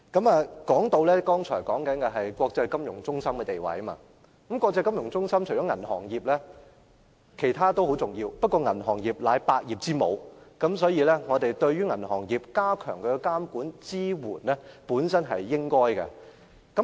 我剛才談到本港作為國際金融中心的地位，國際金融中心除了銀行業外，其他行業同樣重要，但銀行業是百業之母，所以我們加強對銀行業的監管和支援是應該的。